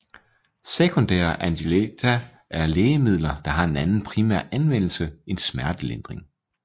Sekundære analgetika er lægemidler der har en anden primær anvendelse end smertelindring